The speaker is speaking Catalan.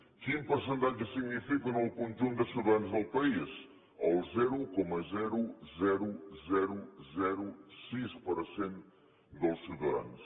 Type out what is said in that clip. quin percentatge signifiquen en el conjunt de ciutadans del país el zero coma sis per cent dels ciu tadans